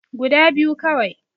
Guda biyu kawai